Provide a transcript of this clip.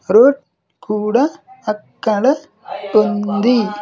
Road కూడా అక్కడ ఉంది.